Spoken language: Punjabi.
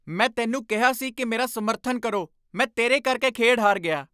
ਮੈਂ ਤੈਨੂੰ ਕਿਹਾ ਸੀ ਕਿ ਮੇਰਾ ਸਮਰਥਨ ਕਰੋ! ਮੈਂ ਤੇਰੇ ਕਰਕੇ ਖੇਡ ਹਾਰ ਗਿਆ!